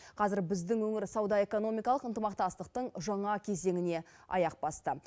қазір біздің өңір сауда экономикалық ынтымақтастықтың жаңа кезеңіне аяқ басты